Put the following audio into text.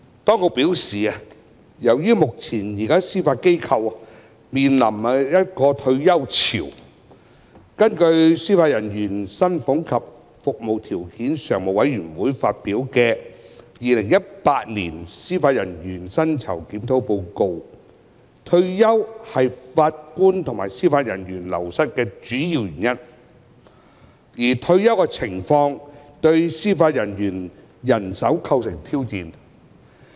當局表示，由於目前司法機構面臨退休潮，根據司法人員薪俸及服務條件常務委員會發表的《二零一八年司法人員薪酬檢討報告》，退休是法官及司法人員流失的主要原因，而退休情況對司法人員人手構成挑戰。